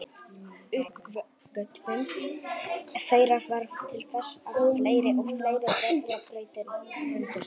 Uppgötvun þeirra varð til þess að fleiri og fleiri vetrarbrautir fundust.